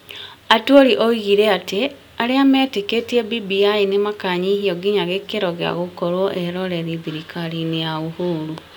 Atwoli oigire atĩ arĩa matetĩkĩtie BBI nĩ makanyihio nginya gĩkĩro gĩa gũkorwo eeroreri thirikari-inĩ ya Uhuru.